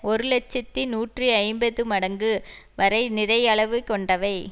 ஒரு இலட்சத்தி நூற்றி ஐம்பது மடங்கு வரை நிறை அளவு கொண்டவை